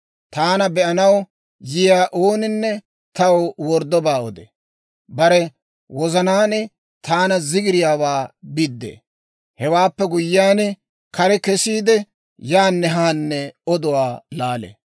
Taana be'anaw yiyaa ooninne taw worddobaa odee; bare wozanaan taana zigiriyaawaa biddee. Hewaappe guyyiyaan, kare kesiide, yaanne haanne oduwaa laalee.